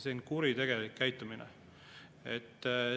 See on kuritegelik käitumine.